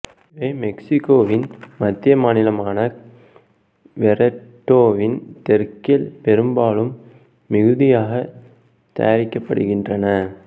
இவை மெக்சிகோவின் மத்திய மாநிலமான க்வெரெட்டோவின் தெற்கில் பெரும்பாலும் மிகுதியாக தயாரிக்கப்படுகின்றன